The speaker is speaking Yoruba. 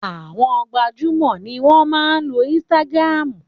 Àwọn gbajúmò ni wọ́n máa ń lo ínsítágírámù